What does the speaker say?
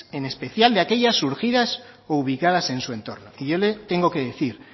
en especial de aquellas surgidas y ubicadas en su entorno y yo le tengo que decir